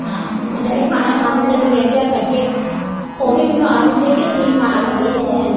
ਆ ਜਿਹੜੇ ਖਾਣਾ ਖਾਂਦੇ ਨੇ ਵਲੇਂਟਿਰ ਕੱਠੇ ਓਵੀਂ ਮੈਨੂੰ ਆਖਦੇ ਹੁੰਦੇ ਕਿ ਤੁਹੀਂ ਖਾਣਾ ਮਤਲਬ ਕੀ ਤੁਹੀਂ ।